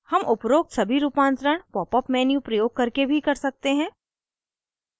हम उपरोक्त सभी रूपांतरण popअप menu प्रयोग करके भी कर सकते हैं